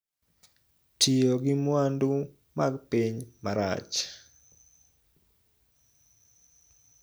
Tiyo gi mwandu mag piny marach